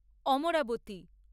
Amaravati